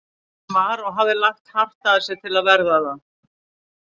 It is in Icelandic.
Hann var- og hafði lagt hart að sér til að verða það